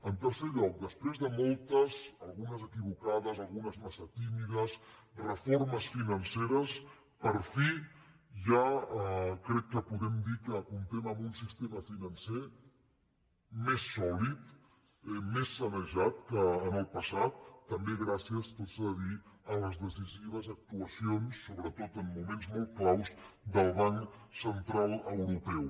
en tercer lloc després de moltes algunes equivoca·des algunes massa tímides reformes financeres per fi ja crec que podem dir que comptem amb un sistema financer més sòlid més sanejat que en el passat tam·bé gràcies tot s’ha de dir a les decisives actuacions sobretot en moments molt clau del banc central eu·ropeu